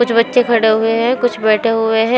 कुछ बच्चे खड़े हुए हैं कुछ बैठे हुए है।